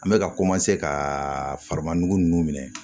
An bɛ ka ka farima nugu nunnu minɛ